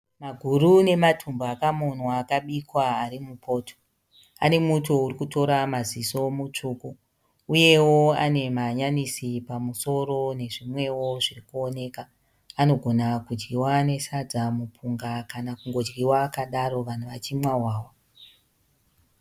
Maguru nematumbu akamonwa akabikwa ari mupoto. Ane muto uri kutora maziso mutsvuku. Uyewo ane mahanyanisi pamusoro nezvimwewo zviri kuoneka. Anogona kudyiwa nesadza, mupunga kana kungodyiwa akadaro vanhu vachimwa hwahwa.